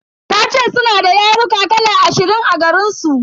Tace suna da yaruka kala ashirin a garinsu.